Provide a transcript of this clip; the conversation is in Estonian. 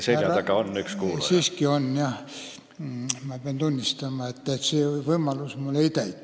Teie selja taga on üks kuulaja.